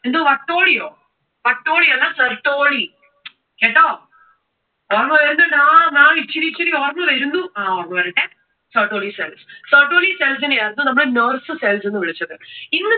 എന്തോ വട്ടോളിയോ, വട്ടോളി അല്ല certoli കേട്ടോ? ഓർമ്മ വരുന്നുണ്ട്. ആ maa'm ഇച്ചിരി ഇച്ചിരി ഓർമ വരുന്നു. ആ ഓർമ്മ വരട്ടെ. certoli cells. Certoli cells നെ ആയിരുന്നു നമ്മൾ നേഴ്സ് cells എന്ന് വിളിച്ചത്. ഇന്ന്